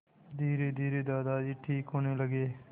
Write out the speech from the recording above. धीरेधीरे दादाजी ठीक होने लगे